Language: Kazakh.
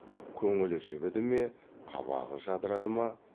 көңілі жібіді ме қабағы жадырады ма